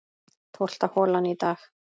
Tólfta holan í dag